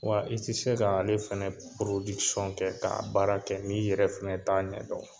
Wa i tɛ se ka ale fana kɛ k'a baara kɛ n'i yɛrɛ fana t'a ɲɛdɔn